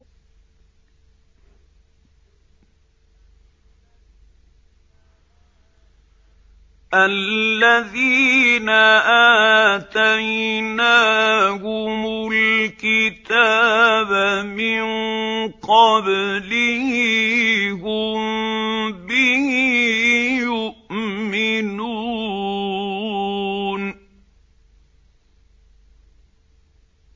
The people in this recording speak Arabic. الَّذِينَ آتَيْنَاهُمُ الْكِتَابَ مِن قَبْلِهِ هُم بِهِ يُؤْمِنُونَ